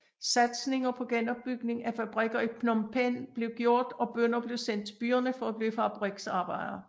Satsninger på genopbygning af fabrikker i Phnom Penh blev gjort og bønder blev sendt til byerne for at blive fabrikarbejdere